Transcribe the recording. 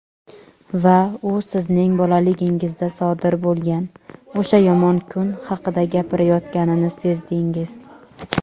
Va u sizning bolaligingizda sodir bo‘lgan "o‘sha yomon kun" haqida gapirayotganini sezdingiz.